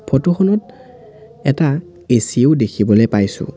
ফটোখনত এটা এচিও দেখিবলৈ পাইছোঁ।